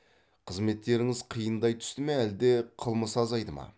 қызметтеріңіз қиындай түсті ме әлде қылмыс азайды ма